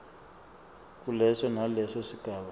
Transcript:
kuleso naleso sigaba